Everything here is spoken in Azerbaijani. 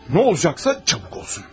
Nə olacaqsa tez olsun.